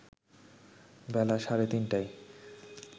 বেলা সাড়ে তিনটায়